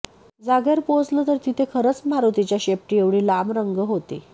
जागेवर पोहोचले तर तिथे खरंच मारुतीच्या शेपटीएव्हढी लांब रंग होती